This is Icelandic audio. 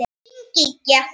Þín Gígja.